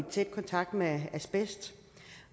i tæt kontakt med asbest